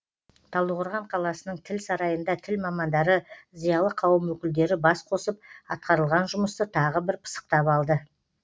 талдықорған қаласының тіл сарайында тіл мамандары зиялы қауым өкілдері бас қосып атқарылған жұмысты тағы бір пысықтап алды